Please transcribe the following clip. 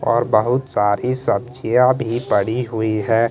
और बहुत सारी सब्जियां भी पड़ी हुई हैं।